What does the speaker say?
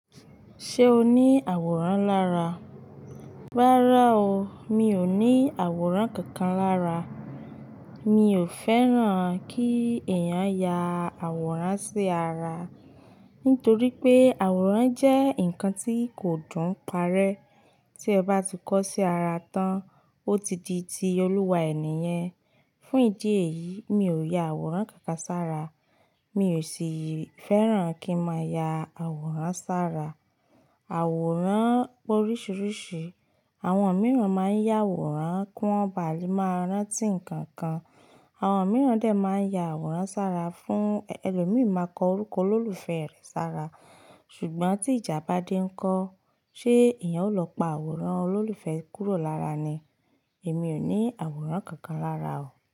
Ṣé o ní àwòrán lára? Rárá o, mi ò ní àwòrán kankan lára. Mi ò fẹ́ràn kí èèyàn ya àwòrán sí ara. Nítorí pé àwòrán jẹ́ nǹkan tí kò dùn parẹ́. Tí ẹ bá ti kọ́ sí ara tán, ó ti di ti olúwa ẹ̀ yẹn. Fún ìdí èyí, mi ò ya àwòrán kankan sára. Mi ò sì fẹ́ràn kí má ya àwòrán sára. Àwòrán oríṣiríṣi, àwọn mìíràn máa ń yá àwòrán kí wọ́n ba à lè máa rántí ǹkan kan. Àwọn mìíràn dè máa ń ya àwòrán sára fún elòmíi máa kọ orúkọ olólùfẹ́ rẹ̀ sára. Ṣùgbọ́n tí ìjà bá dé ńkọ́, ṣe èèyàn ó lọ pa àwòrán olólùfẹ́ kúrò lára ni? Èmi ò ní àwòrán kankan lára o.